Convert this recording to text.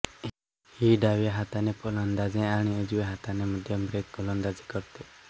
ही डाव्या हाताने फलंदाजी आणि उजव्या हाताने मध्यमब्रेक गोलंदाजी करते